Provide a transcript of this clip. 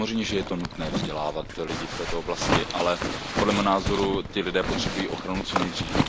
Samozřejmě, že je nutné vzdělávat lidi v této oblasti, ale podle mého názoru ti lidé potřebují ochranu co nejdřív.